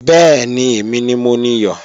Bẹ́ẹ̀ni, èmi ni mo niyọ̀